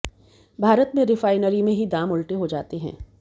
भारत में रिफाइनरी में ही दाम उलटे हो जाते हैं